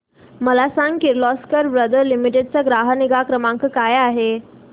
मला सांग Kirloskar brother limited चा ग्राहक निगा क्रमांक काय आहे